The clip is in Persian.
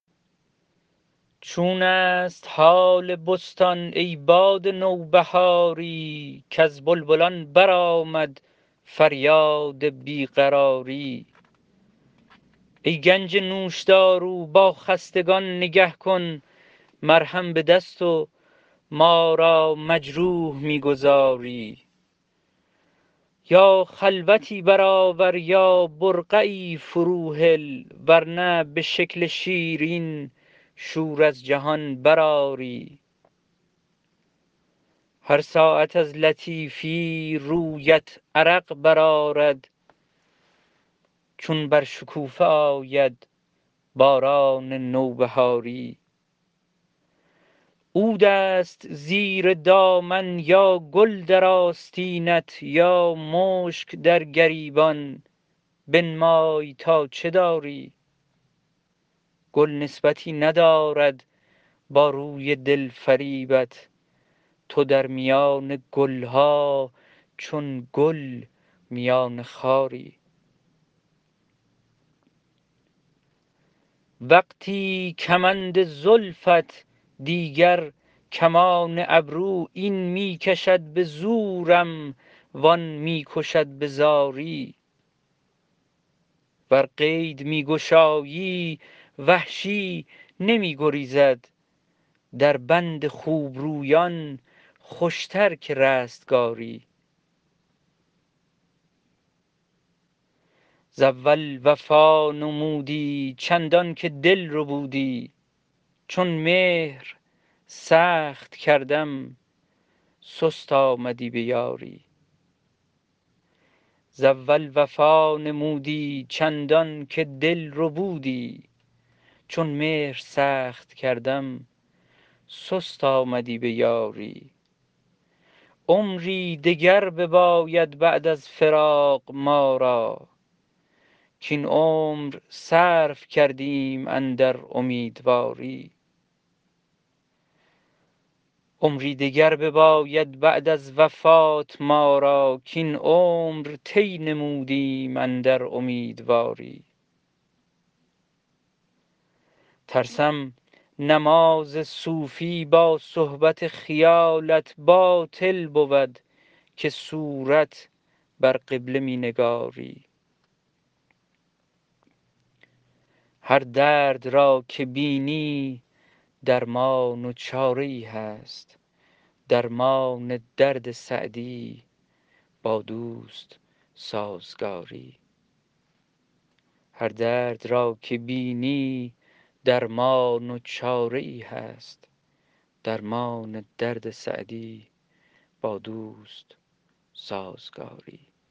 چون است حال بستان ای باد نوبهاری کز بلبلان برآمد فریاد بی قراری ای گنج نوشدارو با خستگان نگه کن مرهم به دست و ما را مجروح می گذاری یا خلوتی برآور یا برقعی فروهل ور نه به شکل شیرین شور از جهان برآری هر ساعت از لطیفی رویت عرق برآرد چون بر شکوفه آید باران نوبهاری عود است زیر دامن یا گل در آستینت یا مشک در گریبان بنمای تا چه داری گل نسبتی ندارد با روی دل فریبت تو در میان گل ها چون گل میان خاری وقتی کمند زلفت دیگر کمان ابرو این می کشد به زورم وآن می کشد به زاری ور قید می گشایی وحشی نمی گریزد در بند خوبرویان خوشتر که رستگاری ز اول وفا نمودی چندان که دل ربودی چون مهر سخت کردم سست آمدی به یاری عمری دگر بباید بعد از فراق ما را کاین عمر صرف کردیم اندر امیدواری ترسم نماز صوفی با صحبت خیالت باطل بود که صورت بر قبله می نگاری هر درد را که بینی درمان و چاره ای هست درمان درد سعدی با دوست سازگاری